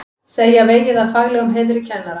Segja vegið að faglegum heiðri kennara